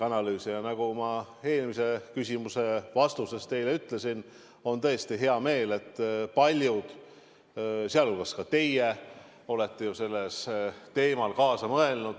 Ja nagu ma eelmise küsimuse vastuses teile ütlesin, mul on tõesti hea meel, et paljud, sealhulgas ka teie, on sellel teemal kaasa mõelnud.